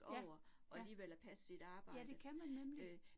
Ja, ja. Ja, det kan man nemlig